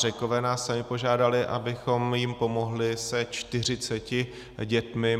Řekové nás sami požádali, abychom jim pomohli se 40 dětmi.